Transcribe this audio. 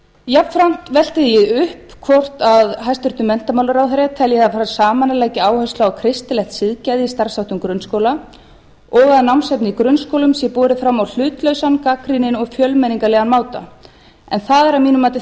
jafnframt velti ég því upp hvort hæstvirtur menntamálaráðherra telji að það fari saman að leggja áherslu á kristilegt siðgæði í starfsháttum grunnskóla og að námsefni í grunnskólum sé borið fram á hlutlausan gagnrýninn og fjölmenningarlegan máta en það er að mínu mati